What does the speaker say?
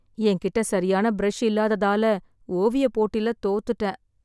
என் கிட்ட சரியான ப்ரஷ் இல்லாததால ஓவியப் போட்டில தோத்துட்டேன்.